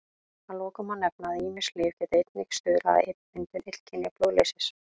Að lokum má nefna að ýmis lyf geta einnig stuðlað að myndun illkynja blóðleysis.